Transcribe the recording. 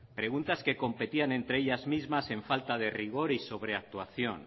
preguntas que competían entre ellas mismas en falta de rigor y sobreactuación